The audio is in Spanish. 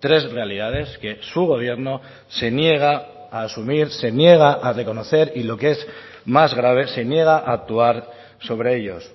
tres realidades que su gobierno se niega a asumir se niega a reconocer y lo que es más grave se niega a actuar sobre ellos